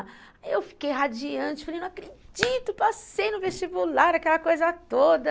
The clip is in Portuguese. Aí eu fiquei radiante, falei, não acredito, passei no vestibular, aquela coisa toda.